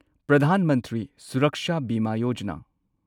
Pradhan Mantri Suraksha Bima Yojana